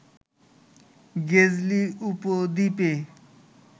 গেজেলি উপদ্বীপে